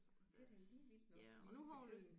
Ja det er da lige vildt nok lige for tiden